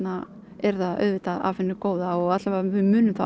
er það auðvitað af hinu góða og við munum þá